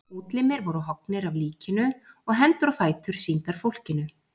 Útlimir voru höggnir af líkinu og hendur og fætur sýndir fólkinu.